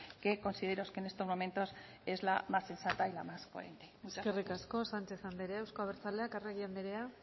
que considero que en estos momentos es la más sensata y la más coherente muchas gracias eskerrik asko sánchez anderea euzko abertzaleak arregi anderea